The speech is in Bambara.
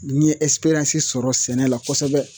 N ye sɔrɔ sɛnɛ la kosɛbɛ